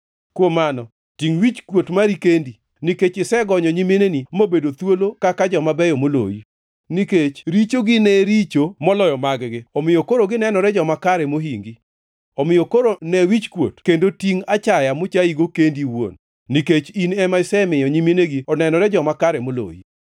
Kuom mano, tingʼ wichkuot mari kendi, nikech isegonyo nyiminegi mobedo thuolo kaka joma beyo moloyi. Nikech richogi ne richo moloyo mag-gi, omiyo koro ginenore joma kare mohingi. Omiyo koro ne wichkuot kendo tingʼ achaya mochayigo kendi iwuon, nikech in ema isemiyo nyiminegi onenore joma kare moloyi.